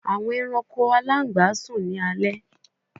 Awọn alangba sun ni alẹ